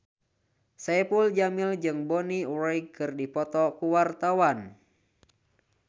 Saipul Jamil jeung Bonnie Wright keur dipoto ku wartawan